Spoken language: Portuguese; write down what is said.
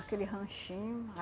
Aquele ranchinho.